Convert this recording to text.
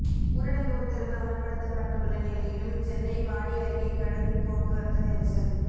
ஊரடங்கு உத்தரவு அமல்படுத்தப்பட்டுள்ள நிலையிலும் சென்னை பாடி அருகே கடும் போக்குவரத்து நெரிசல்